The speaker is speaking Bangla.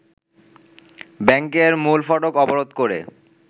ব্যাংকের মূল ফটক অবরোধ করে